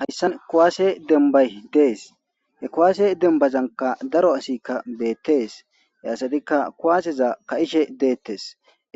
hayssan kowaase dembay dees he kowaase dembazanka daro asikka beettees yaassatikka kuwaaseza ka7ishe deettes